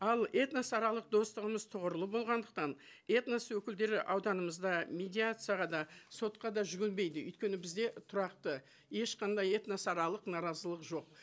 ал этносаралық достығымыз тұғырлы болғандықтан этнос өкілдері ауданымызда медиацияға да сотқа да жүгінбейді өйткені бізде тұрақты ешқандай этносаралық наразылық жоқ